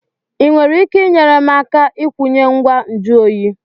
Ị nwere ike inyere m aka ikwunye ngwa nju oyi?